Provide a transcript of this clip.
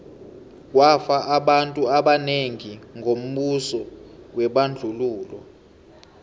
kwafa abantu abanengi ngombuso webandlululo